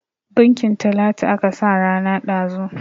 Bunkin Talatu aka sa rana ɗazun.